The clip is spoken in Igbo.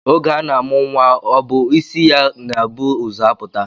Oge a na-amụ nnwa ọ bụ isi ya na-ebu ụzọ apụta